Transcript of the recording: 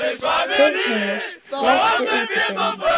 Þyrnirós, læstu útidyrunum.